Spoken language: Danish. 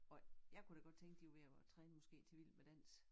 Og jeg kunne da godt tænke de var ved at træne måske til Vild med dans